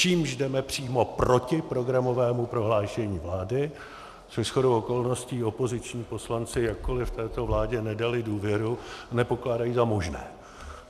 Čímž jdeme přímo proti programovému prohlášení vlády, což shodou okolností opoziční poslanci, jakkoliv této vládě nedali důvěru, nepokládají za možné.